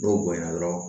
N'o bonyana dɔrɔn